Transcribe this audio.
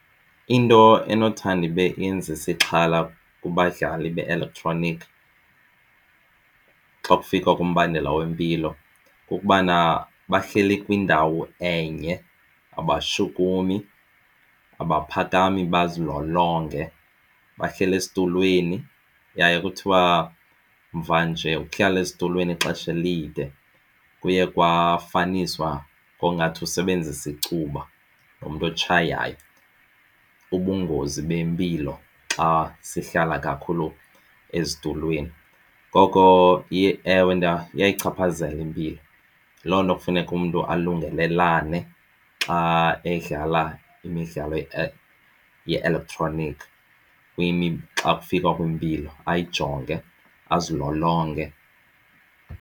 Into enothando ibe yenzisa ixhala kubadlali be-eletroniki xa kufika kombandela wempilo kukubana bahleli kwindawo enye abashukumi abaphakami bazilolonge. Bahleli esitulweni yaye kuthiwa mvanje ukuhlala esitulweni ixesha elide kuye kwafiniswa ngongathi usebenzisa icuba nomntu otshayayo ubungozi bempilo xa sihlala kakhulu ezitulweni. Ngoko ewe, iyayichaphazela impilo, yiloo nto kufuneka umntu alungelelane xa edlala imidlalo ye-elektroniki xa kufikwa kwimpilo ayijonge azilolonge.